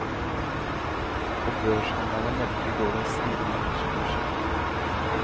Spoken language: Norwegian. Og børshandlerne meldte i går om stigende aksjekurser.